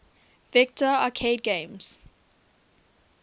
vector arcade games